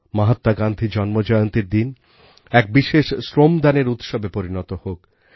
মহাত্মা গান্ধী জন্মজয়ন্তীর দিন এক বিশেষ শ্রমদানের উৎসবে পরিণত হোক